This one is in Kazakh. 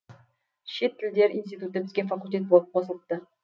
шет тілдер институты бізге факультет болып қосылыпты